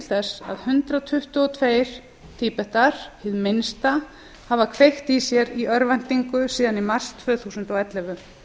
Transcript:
þess að hundrað tuttugu og tvö tíbetar hið minnsta hafa kveikt í sér í örvæntingu síðan í mars tvö þúsund og ellefu